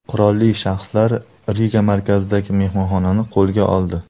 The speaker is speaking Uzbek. Qurolli shaxslar Riga markazidagi mehmonxonani qo‘lga oldi.